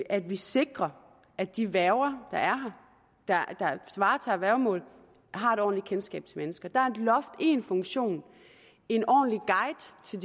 at vi sikrer at de værger der varetager værgemål har et ordentligt kendskab til mennesker der er et loft én funktion en ordentlig guide til